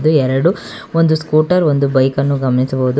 ಎರಡು ಒಂದು ಸ್ಕುಟರ್ ಒಂದು ಬೈಕ್ ನ್ನು ಗಮನಿಸಬಹುದು.